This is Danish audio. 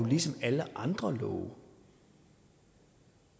ligesom alle andre love